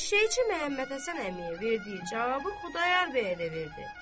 Eşşəkçi Məhəmmədhəsən əmiyə verdiyi cavabı Xudayar bəyə də verdi.